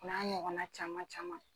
N'a ɲɔgɔn na caman caman